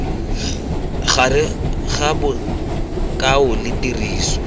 gare ga bokao le tiriso